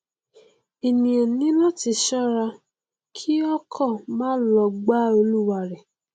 ènìà ní láti ṣọra kí ọkọ má lọ gbá olúwarẹ